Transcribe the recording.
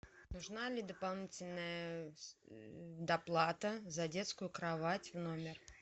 нужна ли дополнительная доплата за детскую кровать в номер